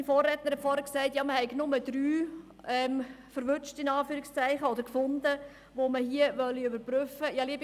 Mein Vorredner hat gesagt, man habe nur drei «erwischt» oder gefunden, die man überprüfen wolle.